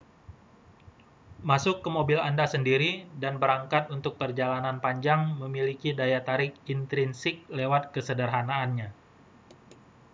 masuk ke mobil anda sendiri dan berangkat untuk perjalanan panjang memiliki daya tarik intrinsik lewat kesederhanaannya